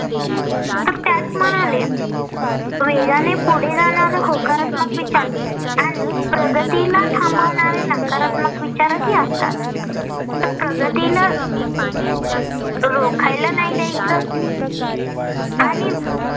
वेगाने पुढे जाणारे होकारात्मक विचार आणि प्रगतीला थांबवणारे नकारात्मक विचारही असतात. तर प्रगतीला रोखायला नाही द्यायचं. आणि